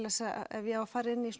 ef ég á að fara inn í